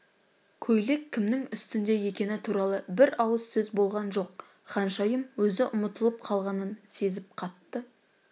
көйлек кімнің үстінде екені туралы бір ауыз сөз болған жоқ ханшайым өзі ұмытылып қалғанын сезіп қатты